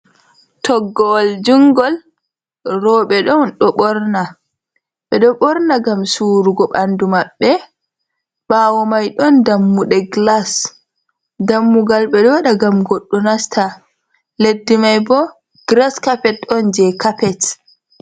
Toggowol jungol roɓe ɗon ɓorna, ɓeɗo ɓorna ngam surugo ɓandu maɓɓe, ɓawo mai ɗon dammuɗe glas dammugal ɓeɗo waɗa ngam goɗɗo nasta, leddi mai bo gras cappet ɗon je capet.